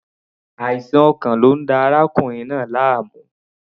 Àìsàn ọkàn ni ó ń da arákùnrin náà láàmú.